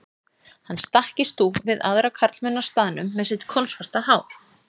Hann stakk í stúf við aðra karlmenn á staðnum með sitt kolsvarta hár.